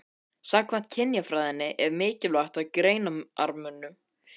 Samkvæmt kynjafræðinni er mikilvægt að gera greinarmun á þessu tvennu.